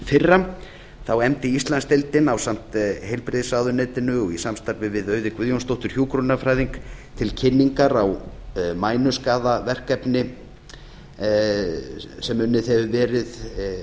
fyrra þá efndi íslandsdeildin ásamt heilbrigðisráðuneytinu og í samstarfi við auði guðjónsdóttur hjúkrunarfræðing til kynningar á mænuskaðaverkefni sem unnið hefur verið